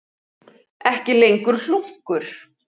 Ekki lengur hlunkur.